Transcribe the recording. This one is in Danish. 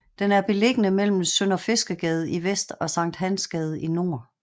Den er beliggende mellem Sønderfiskergade i vest og Sankt Hans Gade i nord